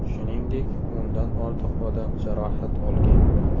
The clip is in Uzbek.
Shuningdek, o‘ndan ortiq odam jarohat olgan.